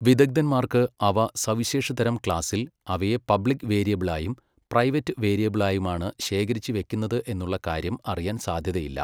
വിദഗ്ധന്മാർക്ക് അവ സവിശേഷ തരം ക്ലാസ്സിൽ അവയെ പബ്ലിക് വേരിയബ്ൾ ആയും പ്രൈവറ്റ് വേരിയബ്ൾ ആയുമാണ് ശേഖരിച്ചു വെക്കുന്നത് എന്നുള്ള കാര്യം അറിയാൻ സാധ്യതയില്ല.